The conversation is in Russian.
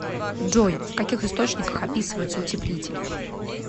джой в каких источниках описывается утеплитель